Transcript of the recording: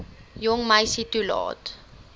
jong meisie toelaat